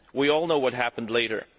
We all know what happened later.